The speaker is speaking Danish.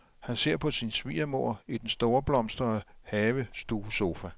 Han ser på sin svigermor i den storblomstrede havestuesofa.